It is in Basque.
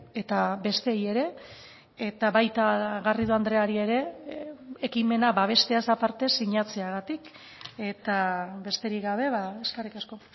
eta besteei ere eta baita garrido andreari ere ekimena babesteaz aparte sinatzeagatik eta besterik gabe eskerrik asko